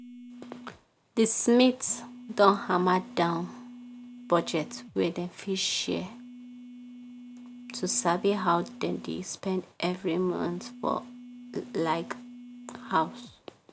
the smiths don hammer down budget wey dem fit share to sabi how dem dey spend every month for house.